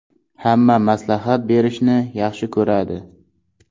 Hamma maslahat berishni yaxshi ko‘radi.